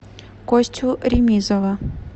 костю ремизова